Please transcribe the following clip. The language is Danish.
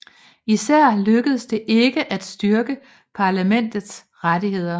Især lykkedes det ikke at styrke parlamentets rettigheder